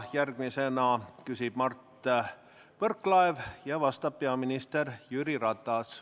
Järgmisena küsib Mart Võrklaev ja vastab peaminister Jüri Ratas.